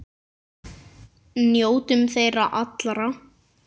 Njótum þeirra allra.